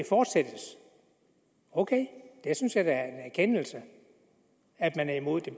fortsættes ok jeg synes at er en erkendelse at man er imod at